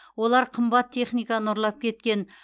олар қымбат техниканы ұрлап кеткен